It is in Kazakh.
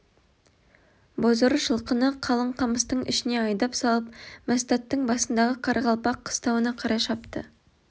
бозорыс жылқыны қалың қамыстың ішіне айдап салып мәстәттің басындағы қарақалпақ қыстауына қарай шапты